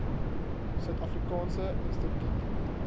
suid afrikaanse instituut